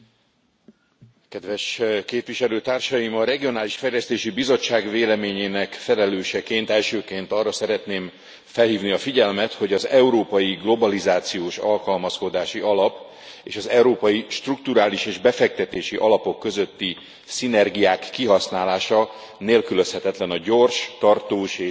Elnök Úr! A Regionális Fejlesztési Bizottság véleményének felelőseként elsőként arra szeretném felhívni a figyelmet, hogy az Európai Globalizációs Alkalmazkodási Alap, és az Európai Strukturális és Befektetési Alapok közötti szinergiák kihasználása nélkülözhetetlen a gyors, tartós és hatékony eredményekhez.